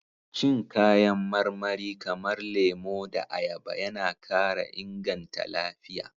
Cin kayan marmari kamar lemo da ayaba yana kara inganta lafiya.